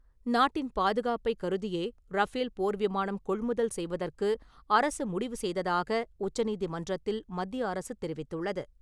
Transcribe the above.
நாட்டின் பாதுகாப்பை கருதியே ரஃபேல் போர் விமானம் கொள்முதல் செய்வதற்கு அரசு முடிவு செய்ததாக உச்சநீதிமன்றத்தில் மத்திய அரசு தெரிவித்துள்ளது.